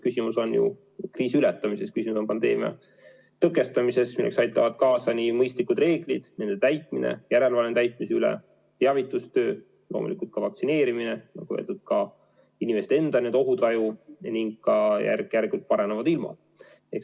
Küsimus on kriisi ületamises, küsimus on pandeemia tõkestamises, milleks aitavad kaasa nii mõistlikud reeglid, nende täitmine, järelevalve täitmise üle, teavitustöö, loomulikult ka vaktsineerimine, nagu öeldud, ka inimeste enda ohutaju ning ka järk-järgult paranevad ilmad.